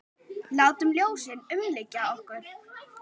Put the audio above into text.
Látum ljósið umlykja okkur.